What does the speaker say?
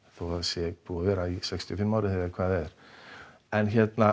þó það sé búið að vera í sextíu og fimm ár eða hvað það er en